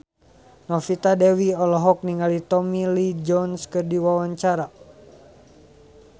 Novita Dewi olohok ningali Tommy Lee Jones keur diwawancara